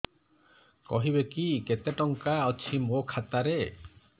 କହିବେକି କେତେ ଟଙ୍କା ଅଛି ମୋ ଖାତା ରେ